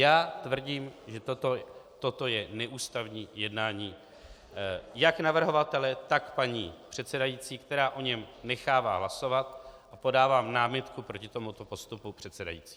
Já tvrdím, že toto je neústavní jednání jak navrhovatele, tak paní předsedající, která o něm nechává hlasovat, a podávám námitku proti tomuto postupu předsedající.